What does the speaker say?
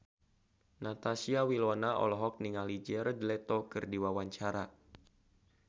Natasha Wilona olohok ningali Jared Leto keur diwawancara